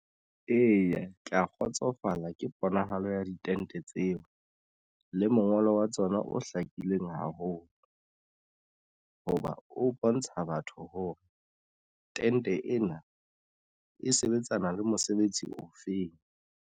Eya, ke ya kgotsofala ka ponahalo ya ditente tseno le mongolo wa tsona o hlakileng haholo hoba o bontsha batho hore tente ena e sebetsana le mosebetsi ofeng.